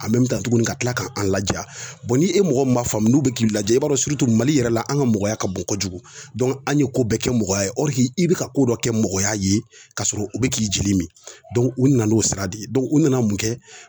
tuguni ka kila k'an laja ni e mɔgɔ mun m'a faamu n'u be k'i lajɛ i b'a dɔn Mali yɛrɛ la an ka mɔgɔya ka bon kojugu an ye ko bɛɛ kɛ mɔgɔya ye i bi ka ko dɔ kɛ mɔgɔya ye kasɔrɔ u bi k'i jeli min u nana n'o sira de ye u nana mun kɛ